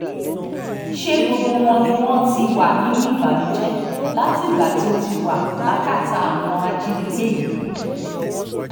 ṣe gbogbo wọn ni wọ́n ti wà nínú ìbànújẹ́ látìgbà tó ti wà lákàtà àwọn ajínigbé yìí